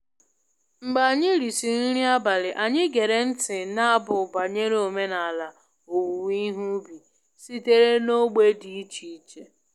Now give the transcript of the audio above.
Mgbe anyị risịrị nri abalị, anyị gere ntị n’abụ banyere omenala owuwe ihe ubi sitere n’ógbè dị iche iche